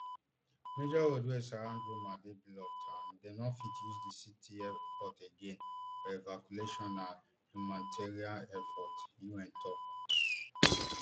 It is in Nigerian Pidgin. major roads wey surround goma dey blocked and dem no fit use di city airport again for evacuation and humanitarian efforts un tok